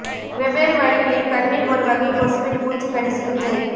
வெவ்வேறு வழிகளில் கண்ணில் ஒரு வகை கொசுவின் பூச்சி கடி சிகிச்சை